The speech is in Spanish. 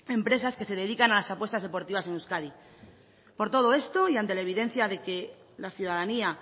empresas que se dedican a las apuestas deportivas en euskadi por todo esto y ante la evidencia de que la ciudadanía